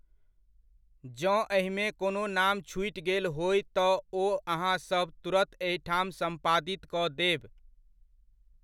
जँ एहिमे कोनो नाम छूटि गेल होय तँ ओ अहाँसभ तुरत एहिठाम सम्पादित कऽ देब।